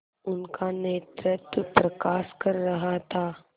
उनका नेतृत्व प्रकाश कर रहा था